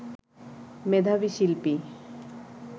মেধাবী শিল্পী